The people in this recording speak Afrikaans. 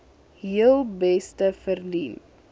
heel beste verdien